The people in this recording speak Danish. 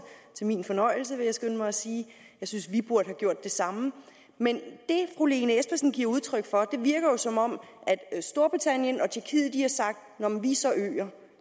til min fornøjelse vil jeg skynde mig at sige jeg synes at vi burde have gjort det samme men det fru lene espersen giver udtryk for virker jo som om at storbritannien og tjekkiet har sagt nå men vi er så øer